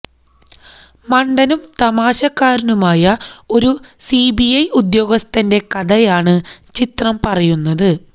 മണ്ടനും തമാശക്കാരനുമായ ഒരു സിബിഐ ഉദ്യോഗസ്ഥന്റെ കഥയാണ് ചിത്രം പറയുന്നത്